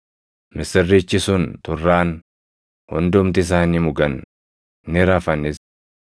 Misirrichi sun turraan hundumti isaanii mugan; ni rafanis.